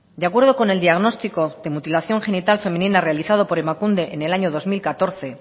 de acuerdo con el diagnóstico de mutilación genital femenina realizado por emakunde en el año dos mil catorce